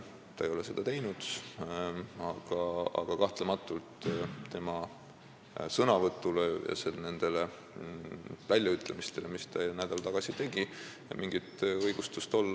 Ta ei ole seda teinud, aga kahtlemata ei saa olla mingit õigustust tema sõnavõtule ja nendele väljaütlemistele, mis ta nädal tagasi tegi.